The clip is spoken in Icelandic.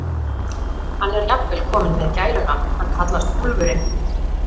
Hann er jafnvel kominn með gælunafn, hann kallast Úlfurinn.